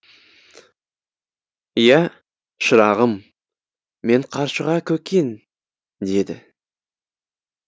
иә шырағым мен қаршыға көкең деді